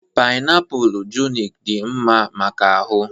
painiapulu junic dị mma maka ahụ